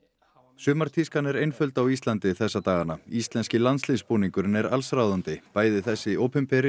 sumartískan er einföld á Íslandi þessa dagana íslenski landsliðsbúningurinn er allsráðandi bæði þessi opinbera